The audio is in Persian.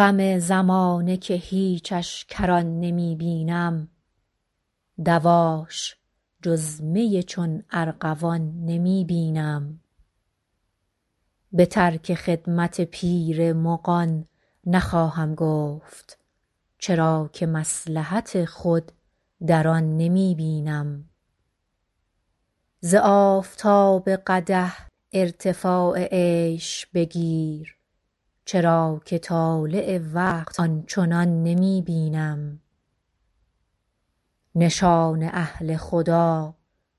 غم زمانه که هیچش کران نمی بینم دواش جز می چون ارغوان نمی بینم به ترک خدمت پیر مغان نخواهم گفت چرا که مصلحت خود در آن نمی بینم ز آفتاب قدح ارتفاع عیش بگیر چرا که طالع وقت آن چنان نمی بینم نشان اهل خدا